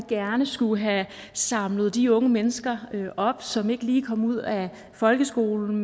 gerne skulle have samlet de unge mennesker op som ikke lige kom ud af folkeskolen